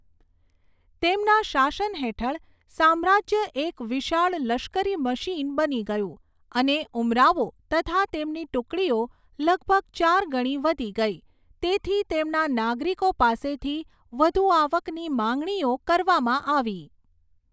તેમના શાસન હેઠળ, સામ્રાજ્ય એક વિશાળ લશ્કરી મશીન બની ગયું અને ઉમરાવો તથા તેમની ટુકડીઓ લગભગ ચાર ગણી વધી ગઈ, તેથી તેમના નાગરિકો પાસેથી વધુ આવકની માંગણીઓ કરવામાં આવી.